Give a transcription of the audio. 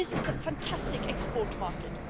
This is a fantastic export market.